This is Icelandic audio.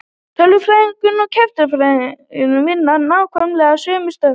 Tölvunarfræðingar og kerfisfræðingar vinna nákvæmlega sömu störf.